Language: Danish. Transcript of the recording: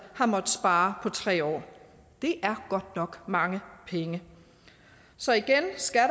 har måttet spare på tre år det er godt nok mange penge så igen skal